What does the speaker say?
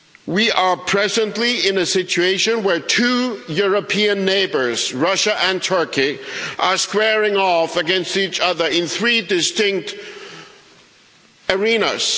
We are presently in a situation where two European neighbours Russia and Turkey are squaring off against each other in three distinct arenas.